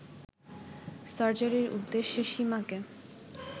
সার্জারির উদ্দেশ্যে সীমাকে